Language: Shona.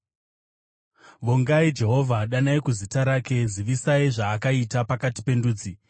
Vongai Jehovha, danai kuzita rake; zivisai zvaakaita pakati pendudzi.